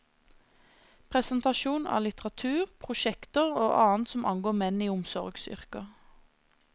Presentasjon av litteratur, prosjekter og annet som angår menn i omsorgsyrker.